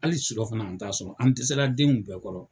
Hali surɔfana an t'a sɔrɔ an dɛsɛla denw bɛɛ kɔrɔ.